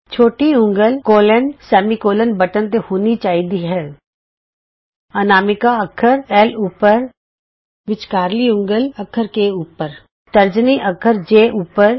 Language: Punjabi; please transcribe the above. ਛੋਟੀ ਉਂਗਲ ਕੋਲੋਨਸੈਮੀ ਕੋਲੋਨ ਬਟਨ ਤੇ ਹੋਣੀ ਚਾਹੀਦੀ ਹੈ ਅਨਾਮਿਕਾ ਅੱਖਰ ਐਲ ਉੱਪਰ ਵਿੱਚਕਾਰਲੀ ਉਂਗਲ ਅੱਖਰ ਕੇ ਉੱਪਰ ਤਰਜਨੀ ਅੱਖਰ ਜੇ ਉੱਪਰ